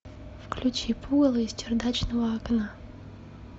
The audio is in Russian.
включи пугало из чердачного окна